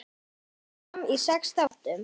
Kemur fram í sex þáttum.